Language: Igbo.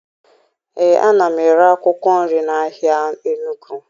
Ee, ana m ere akwụkwọ nri n'ahịa Enugwu